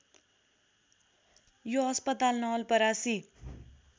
यो अस्पताल नवलपरासी